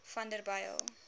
vanderbijl